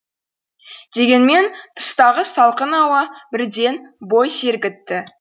дегенмен тыстағы салқын ауа бірден бой сергітті